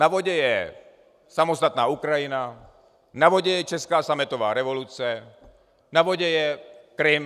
Na vodě je samostatná Ukrajina, na vodě je česká sametová revoluce, na vodě je Krym.